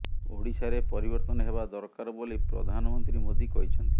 ଓଡିଶାରେ ପରିବର୍ତ୍ତନ ହେବା ଦରକାର ବୋଲି ପ୍ରଧାନମନ୍ତ୍ରୀ ମୋଦି କହିଛନ୍ତି